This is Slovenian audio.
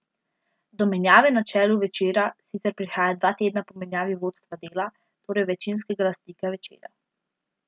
Do menjave na čelu Večera sicer prihaja dva tedna po menjavi vodstva Dela, torej večinskega lastnika Večera.